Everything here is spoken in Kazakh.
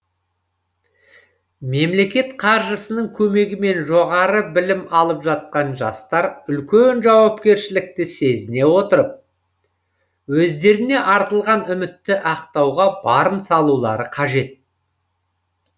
мемлекет қаржысының көмегімен жоғары білім алып жатқан жастар үлкен жауапкершілікті сезіне отырып өздеріне артылған үмітті ақтауға барын салулары қажет